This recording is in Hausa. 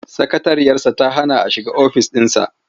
Sakatariyarsa ta hana a shiga ofis ɗinsa.